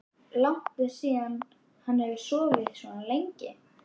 Langt er síðan hann hefur sofið svona lengi.